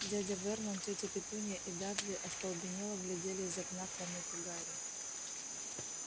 дядя вернон тётя петунья и дадли остолбенело глядели из окна комнаты гарри